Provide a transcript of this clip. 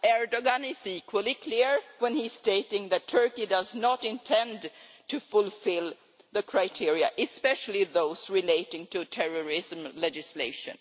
Erdoğan is equally clear when he is stating that Turkey does not intend to fulfil the criteria, especially those relating to terrorism legislation.